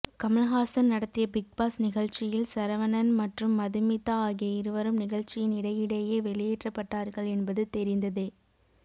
கமல்ஹாசன் நடத்திய Bigg Boss நிகழ்ச்சியில் சரவணன் மற்றும் மதுமிதா ஆகிய இருவரும் நிகழ்ச்சியின் இடையிடையே வெளியேற்றப்பட்டார்கள் என்பது தெரிந்ததே